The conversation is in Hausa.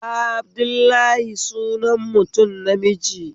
Abdullahi sunan mtum namiji